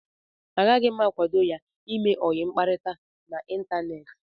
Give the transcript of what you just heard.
Agaghị m akwado ya ime ọyi mkparịta n'Ịntaneti.